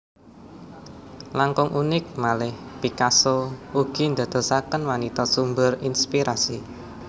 Langkung unik malih Picasso ugi ndadosaken wanita sumber inspirasi